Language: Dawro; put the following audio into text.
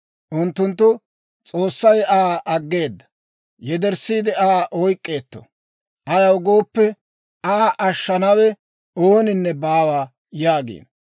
Unttunttu, «S'oossay Aa aggeedda; yederssiide Aa oyk'k'eetto. Ayaw gooppe, Aa ashshanawe ooninne baawa» yaagiino.